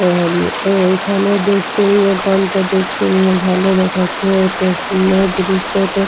এ এ এইখানে দেখতে নিয়ে এখানটা দেখতে ভালো দেখাচ্ছে এতো এ এই দৃশটা।